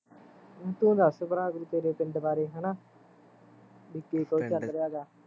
ਤੂੰ ਦੱਸ ਭਰਾ ਕੋਈ ਤੇਰੇ ਪਿੰਡ ਬਾਰੇ ਹੈਨਾ ਵੀ ਕੀ ਕੁਸ਼ ਚੱਲ ਰਿਹਾਂਗਾ